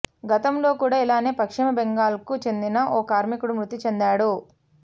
గతంలో కూడా ఇలానే పశ్చిమ బెంగాల్కు చెందిన ఓ కార్మికుడు మృతి చెందాడు